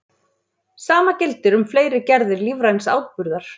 Sama gildir um fleiri gerðir lífræns áburðar.